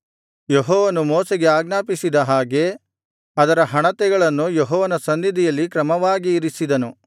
ಯೆಹೋವನು ಮೋಶೆಗೆ ಆಜ್ಞಾಪಿಸಿದ ಹಾಗೆ ಅದರ ಹಣತೆಗಳನ್ನು ಯೆಹೋವನ ಸನ್ನಿಧಿಯಲ್ಲಿ ಕ್ರಮವಾಗಿ ಇರಿಸಿದನು